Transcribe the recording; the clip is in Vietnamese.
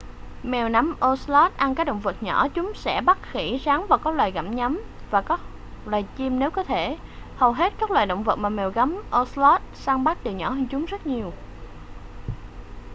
mèo gấm ocelots ăn các động vật nhỏ chúng sẽ bắt khỉ rắn các loài gặm nhấm và các loại chim nếu có thể hầu hết các loài động vật mà mèo gấm ocelot săn bắt đều nhỏ hơn chúng rất nhiều